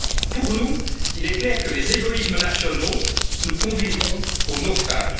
européenne? Pour nous, il est clair que les égoïsmes nationaux nous conduiront